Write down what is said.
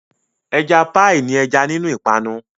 Ẹja píì ní ẹja nínú ìpanu.